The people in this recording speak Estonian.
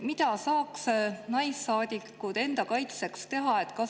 Mida saaksid naissaadikud enda kaitseks teha?